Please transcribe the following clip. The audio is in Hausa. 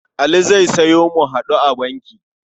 Ali zai sayo mu-haɗu-a-banki.